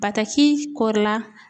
Bataki kɔrila